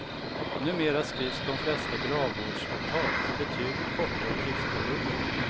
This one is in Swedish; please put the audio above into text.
Numera skrivs de flesta gravvårdsavtal för betydligt kortare tidsperioder.